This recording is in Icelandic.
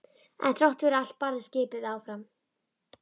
En þrátt fyrir allt barðist skipið áfram.